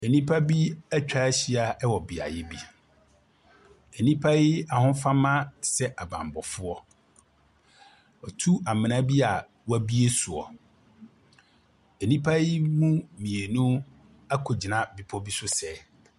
Nnipa bi atwa ahyia wɔ beaeɛ bi. Nnipa yi ahofama sɛ abammɔfoɔ. Wɔatu amena bi a wɔabue soɔ. Nnipa yi mu mmienu akɔgyina bepa bi so sɛɛ.